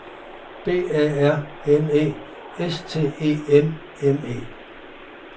B A R N E S T E M M E